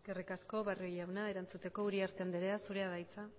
eskerrik asko barrio jauna erantzuteko uriarte andrea zurea da hitza